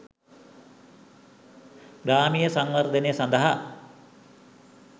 ග්‍රාමීය සංවර්ධනය සඳහා